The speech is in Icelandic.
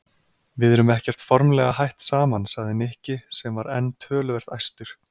Við erum ekkert formlega hætt saman sagði Nikki sem var enn töluvert æstur.